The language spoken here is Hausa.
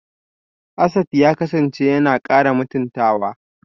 Asad ya kasance yana kara mutuntawa